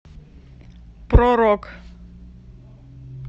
про рок